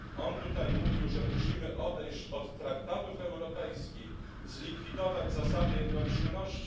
On tutaj mówił, że musimy odejść od traktatów europejskich, zlikwidować zasadę jednomyślności.